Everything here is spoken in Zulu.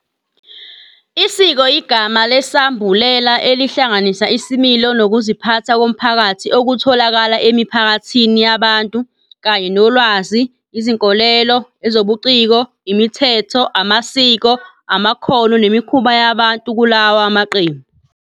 Isiko yigama lesambulela elihlanganisa isimilo nokuziphatha komphakathi okutholakala emiphakathini yabantu, kanye nolwazi, izinkolelo, ezobuciko, imithetho, amasiko, amakhono nemikhuba yabantu kulawa maqembu.